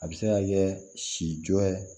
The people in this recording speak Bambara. A bɛ se ka kɛ si jɔ